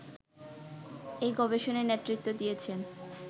এই গবেষণায় নেতৃত্ব দিয়েছেন